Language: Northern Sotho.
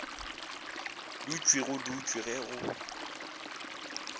dutšwe go dutšwe ge go